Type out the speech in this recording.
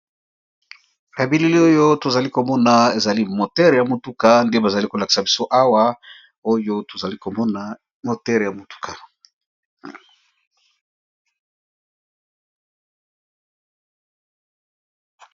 Ba bilili oyo tozali komona ezali moteur ya motuka nde bazali kolakisa biso awa, oyo tozali komona moteur ya motuka.